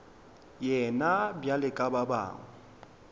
yena bjalo ka ba bangwe